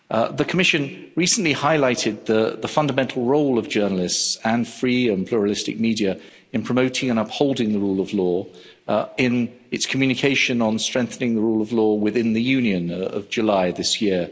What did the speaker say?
The Commission recently highlighted the fundamental role of journalists and free and pluralistic media in promoting and upholding the rule of law in its Communication on strengthening the rule of law within the Union of July this year.